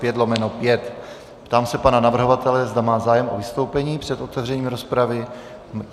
Ptám se pana navrhovatele, zda má zájem o vystoupení před otevřením rozpravy.